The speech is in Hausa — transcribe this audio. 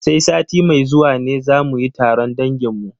Sai sati mai zuwa ne za mu yi taron dangin mu.